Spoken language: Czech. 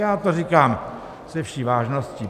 Já to říkám se vší vážností.